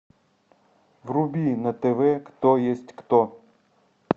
вруби на тв кто есть кто